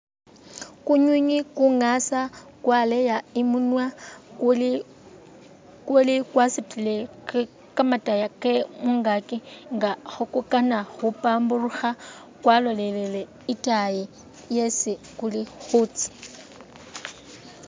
Kunywinywi kungasa kwaleya imunwa kuli kwasutule kamataya ke mungakyi nga khe kukana khu pamburukha kwalolelele itaayi yesi kuli khutsya.